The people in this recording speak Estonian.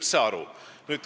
See on punkt üks.